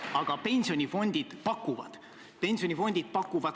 Ma saan aru, et see on teie juhitud valitsuskoalitsiooni uus poliitika.